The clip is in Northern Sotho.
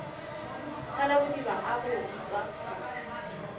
thalabodiba a go utswa pholo